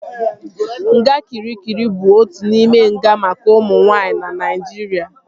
Nga Kịrikịri bụ otu n'ime nga maka ụmụ nwaanyị na Naijiria